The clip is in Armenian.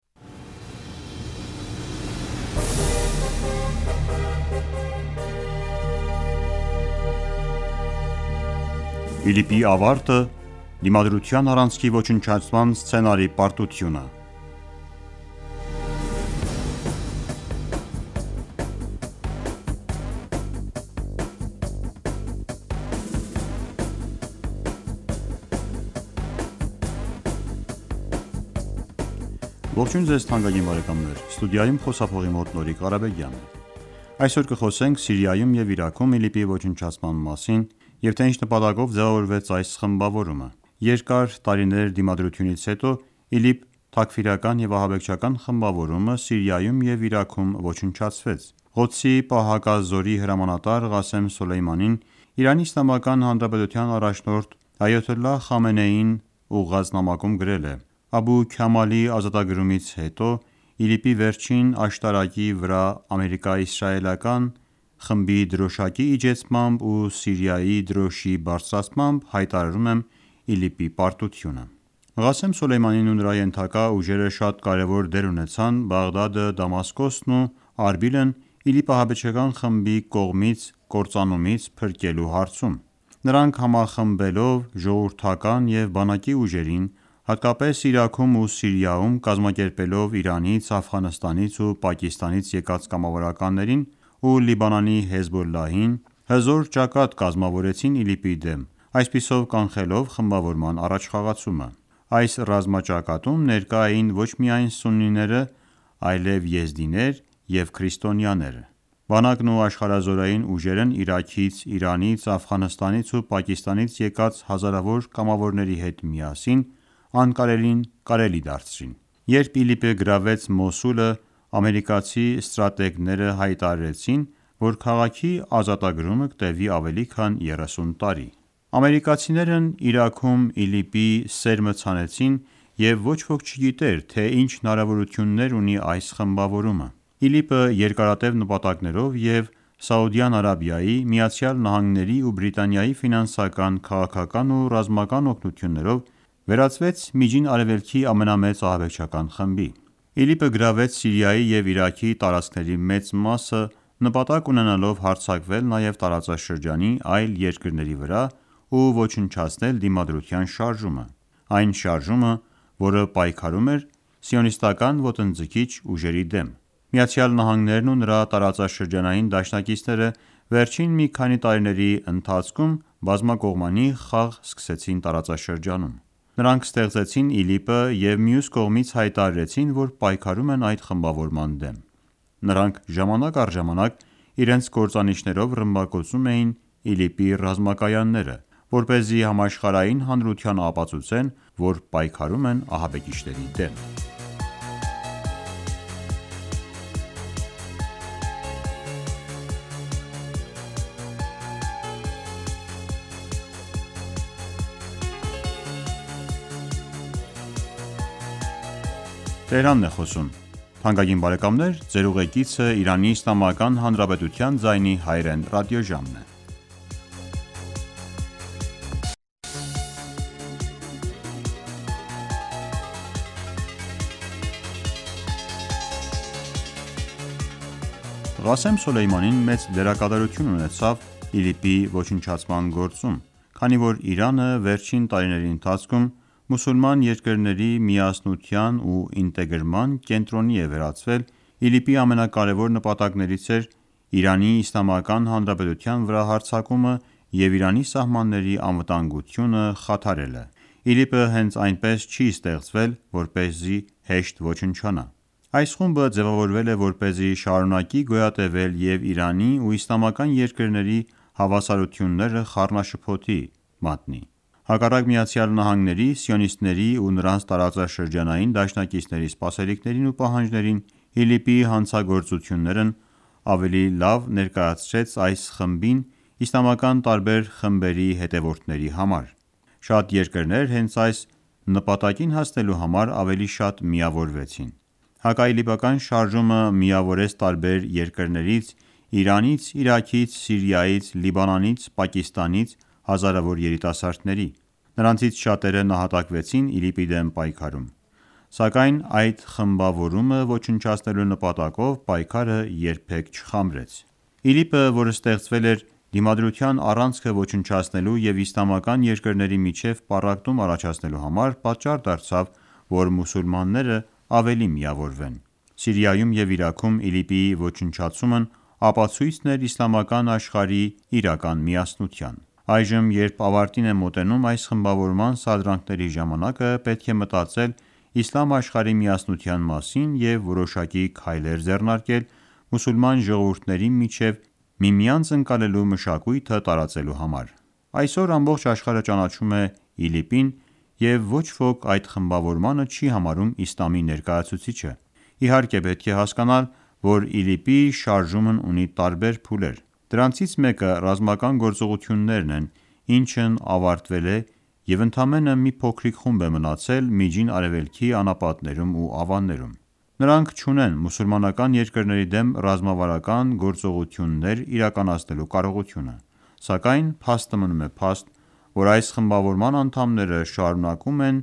ԻԼԻՊ-ի ավարտը` Դիմադրութան առանցքի ոչնչացման սցենարի պարտությունը Այսօր կխոսենք Սիրիայում և Իրաքում ԻԼԻՊ-ի ոչնչացման մասին և թե ինչ նպատակով ձևավորվեց այս խմբավորումը: Երկար տարիներ դիմադրությունից հետո, ԻԼԻՊ թաքֆիրական-ահաբեկչական խմբավորումը Սիրիայում և Իրաքում ոչնչացվեց: Ղոդսի պահակազորի հրամանատար Ղասեմ Սոլեյմանին, ԻԻՀ առաջնորդ Այաթոլլահ Խամենեիին ուղղված նամակում գրել է. «Աբու Քամալի ազատագրումից հետո ԻԼԻՊ-ի վերջին ամրոցի վրայից ամերիկյան-սիոնիստական խմբի դրոշակի իջեցմամբ ու Սիրիայի դրոշակի բարձրացմամբ հայտարարում եմ ԻԼԻՊ-ի պարտությունը»: Ղասեմ Սոլեյմանին ու նրա ենթակա ուժերը շատ կարևոր դեր ունեցան Բաղդադը, Դամասկոսն ու Արբիլն ԻԼԻՊ ահաբեկչական խմբի կողմից կործանումից փրկելու հարցում: Նրանք համախմբելով ժողովրդական և բանակի ուժերին, հատկապես Իրաքում ու Սիրիայում և կազմակերպելով Իրանից, Աֆղանստանից ու Պակիստանից եկած կամավորներին, ու Լիբանանի Հեզբոլլահին, հզոր ճակատ կազմավորեցին ԻԼԻՊ-ի դեմ, այսպիսով կանխելով խմբավորման առաջխաղացումը: Այս ռազմաճակատում ներկա էին ոչ միայն սուննիները, այլև եզդիները և քրիստոնյաները: Բանակն ու աշխարհազորային ուժերն Իրաքից, Իրանից, Աֆղանստանից ու Պակիստանից եկած հազարավոր կամավոների հետ միասին անկարելին կարելի դարձրին: Երբ ԻԼԻՊ-ը գրավեց Մոսուլը, ամերիկացի ստրատեգները հայտարարեցին, որ քաղաքի ազատագրումը կտևի ավելի քան 30 տարի: Ամերիկացիներն Իրաքում ԻԼԻՊ-ի սերմը ցանեցին և ոչ ոք չգիտեր, թե ինչ հնարավորություններ ունի այս խմբավորումը: ԻԼԻՊ-ը երկարատև նպատակներով և Սաուդյան Արաբիայի, Միացյալ Նահանգների ու Բրիտանիայի ֆինանսական, քաղաքական ու ռազմական օգնություններով, վերածվեց Միջին Արևելքի ամենամեծ ահաբեկչական խմբի: ԻԼԻՊ-ը գրավեց Սիրիայի և Իրաքի տարածքների մեծ մասը, նպատակ ունենալով հարձակվել նաև տարածաշրջանի այլ երկրների վրա ու ոչնչացնել Դիմադրության շարժումը: Այն շարժումը, որը պայքարում էր սիոնիստական ոտնձգիչ ուժերի դեմ: ԱՄՆ-ն ու նրա տարածաշրջանային դաշնակիցները վերջին մի քանի տարիների ընթացքում բազմակողմանի խաղ սկսեցին տարածաշրջանում: Նրանք ստեղծեցին ԻԼԻՊ-ը և մյուս կողմից հայտարարեցին, որ պայքարում են այդ խմբավորման դեմ: Նրանք ժամանակ առ ժամանակ իրենց կործանիչներով ռմբակոծում էին ԻԼԻՊ-ի ռազմակայանները, որպեսզի համաշխարհային հանրությանն ապացուցեն, որ պայքարում են ահաբեկիչների դեմ: Քանի որ Իրանը վերջին տարիների ընթացքում մուսուլման երկրների միասնության ու ինտեգրման կենտրոնի է վերածվել, ԻԼԻՊ-ի ամենակարևոր նպատակներից էր ԻԻՀ վրա հարձակումը և Իրանի սահմանների անվտանգությունը խաթարելը: ԻԼԻՊ-ը հենց այնպես չի ստեղծվել, որպեսզի հեշտ ոչնչանա: Այս խումբը ձևավորվել է, որպեսզի շարունակի գոյատևել և Իրանի ու իսլամական երկրների հավասարաությունները խառնաշփոթի մատնել: Հակառակ ԱՄՆ-ի, սիոնիստների ու նրանց տարածաշրջանային դաշնակիցների սպասելիքներին ու պահանջներին, ԻԼԻՊ-ի հանցագործություններն ավելի լավ ներկայացրեց այս խմբին ` իսլամական տարբեր խմբերի հետևորդների համար: Շատ երկրներ հենց այս նպատակին հասնելու համար ավելի շատ միավորվեցին: Հակաիլիպական շարժումը միավորեց տարբեր երկրներից` Իրանից, Իրաքից, Սիրիայից, Լիբանանից, և Պակիստանից հազարավոր երիտասարդների: Նրանցից շատերը նահատակվեցին ԻԼԻՊ-ի դեմ պայքարում: Սակայն այդ խմբավորմանը ոչնչացնելու նպատակով պայքարը երբեք չխամրեց: ԻԼԻՊ-ը, որ ստեղծվել էր Դիմադրության առանցքը ոչնչացնելու և իսլամական երկրների միջև պառակտում առաջացնելու համար, պատճառ դարձավ, որ մուսուլմաններն ավելի միավորվեն: Սիրիայում և Իրաքում ԻԼԻՊ-ի ոչնչացումն ապացույցն էր իսլամական աշխարհի իրական միասնության: Այժմ, երբ ավարտին է մոտենում այս խմբավորման սադրանքների ժամանակը, պետք է մտածել իսլամ աշխարհի միասնության մասին և որոշակի քայլեր ձեռնարկել` մուսուլման ժողովուրդների միջև միմյանց ընկալելու մշակույթը տարածելու համար: Այսօր ամբողջ աշխարհը ճանաչում է ԻԼԻՊ-ն և ոչ ոք այդ խմբավորմանը չի համարում իսլամի ներկայացուցիչը: Իհարկե պետք է հասկանալ, որ ԻԼԻՊ-ի շարժումն ունի տարբեր փուլեր: Դրանցից մեկը ռազմական գործողություններն են, ինչն ավարտվել է և ընդամենը մի փոքրիկ խումբ մնացել է Միջին Արևելքի անապատներում ու ավաններում: Նրանք չունեն մուսուլմանկան երկրների դեմ ռազմավարական գործողություններ իրականացնելու կարողությունը: Սակայն փաստը մնում է փաստ, որ այս խմբավորման անդամները շարունակում են